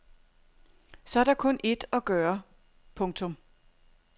Så er der kun ét at gøre. punktum